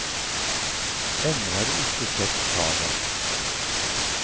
Ennå har du ikke sett havet.